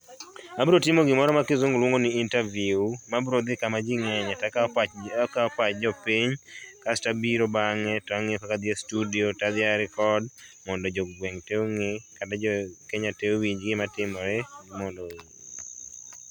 Abiro timo gimoro ma kisungu luongo ni interview mabiro dhi kama jii ngenye takao pach jopiny kasto abiro bang'e tangiyo kaka adhi e studio tadhi a record mondo jogweng tee onge kata jokenya tee owinj gima timore mondo